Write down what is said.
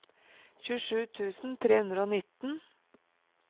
tjuesju tusen tre hundre og nitten